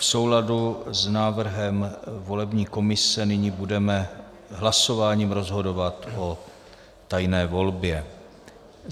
V souladu s návrhem volební komise nyní budeme hlasováním rozhodovat o tajné volbě.